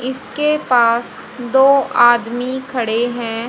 इसके पास दो आदमी खड़े हैं।